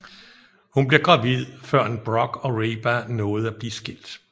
Hun bliver gravid førend Brock og Reba nåede at blive skilt